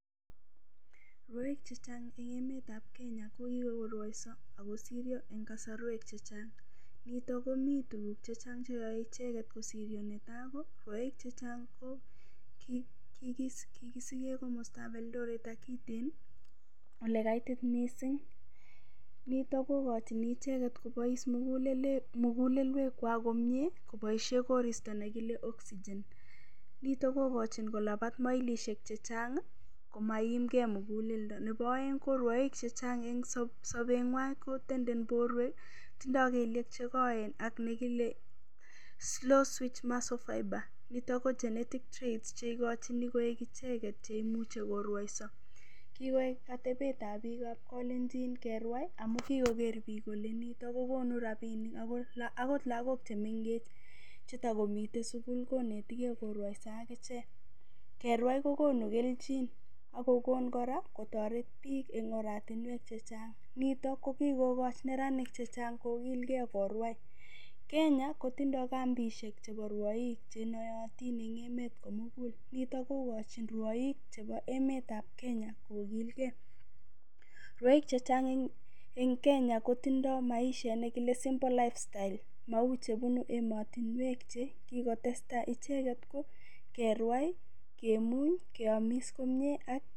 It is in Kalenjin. Rwoik chechang' chebo emetab Kenya kokikorwoiso akosiryo eng' kasorwek chechang' nito komi tukuk chechang' cheyoe icheget kosiryo netai ko rwoik chechang' ko kikisike komostab Eldoret ak Iten ole kaitit mising nito kokochini icheget kobois mukulelwek kwak komyee koboishe koristo nekile oxygen nito kokochi kolabat mailishek chechang' komaiimgei muguleldo nebo oeng' ko rwoik chechang' eng' sobeng'wai kotenden borwek tindoi kelyek chekoen ak nekile slow switch muscle fiber nito ko genetics traits cheikochini koek icheget cheimuchei korwoiso kikoek atebetab piikab kalenjin kerwai amu kikoker piik kole nito kokonu ropishek akot lakok chemengech chetikomitei sukul konetigei korwaiso akichek kerwai kokonu kelchin akokon kora kotoreti piik eng'oratinwek chechang' nito ko kikokoch neranik chechang' kokilgei korwai Kenya kotindoi kambishek chebo rwoik chenoyotin eng' emet komugul nito kokochini rwoik chebo emetab Kenya kokilgei rwoik chechang' ing Kenya kotindoi maishet nekile simple life style mau chebunu emotinwek chekikotestai icheget ko kerwai kemuny keomis komye.